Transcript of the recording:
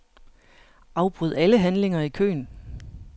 Afbryd alle handlinger i køen.